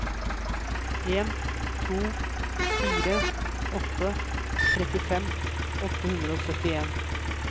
en to fire åtte trettifem åtte hundre og syttien